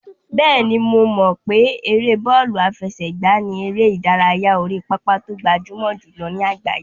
Bẹ́ẹ̀ni, mo mọ̀ pé ère bọ́ọ̀lù àfẹsẹ̀gbá ni eré ìdárayá orí pápá tó gbajúmọ̀ jùlọ ní àgbáyé.